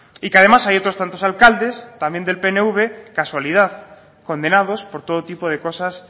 y que además hay otros tantos alcaldes también del pnv casualidad condenados por todo tipo de cosas